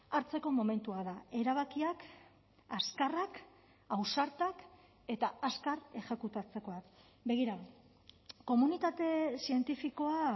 hartzeko momentua da erabakiak azkarrak ausartak eta azkar exekutatzekoak begira komunitate zientifikoa